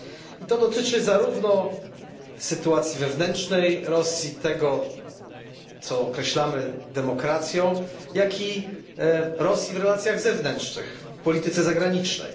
I dotyczy to zarówno sytuacji wewnętrznej Rosji, tego, co nazywamy demokracją, jak i Rosji w relacjach zewnętrznych, w polityce zagranicznej.